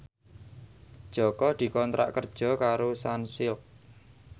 Jaka dikontrak kerja karo Sunsilk